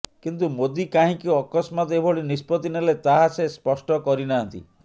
କିନ୍ତୁ ମୋଦି କାହିଁକି ଅକସ୍ମାତ୍ ଏଭଳି ନିଷ୍ପତ୍ତି ନେଲେ ତାହା ସେ ସ୍ପଷ୍ଟ କରିନାହାନ୍ତି